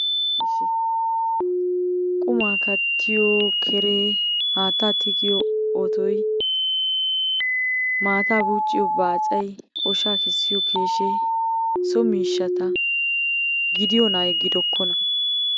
ishshi qummaa kattiyo keree, haattaa tigiyo otoy, maataa buucciyo baacay, oshaa kessiyo keeshee so miishshsata gidiyoonaayye gidokkonaa?